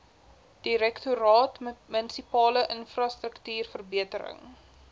direktoraat munisipale infrastruktuurverbetering